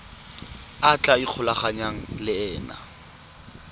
a tla ikgolaganyang le ena